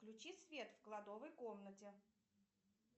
включи свет в кладовой комнате